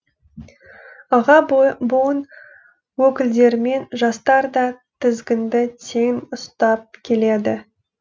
аға буын өкілдерімен жастар да тізгінді тең ұстап келеді